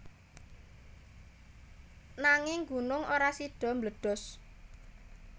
Nanging gunung ora sida mbledos